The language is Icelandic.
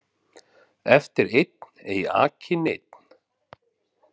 Eftir einn ei aki neinn